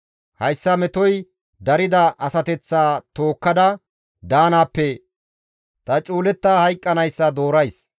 Hayssa metoy darida asateththa tookkada daanaappe ta cuuletta hayqqanayssa doorays.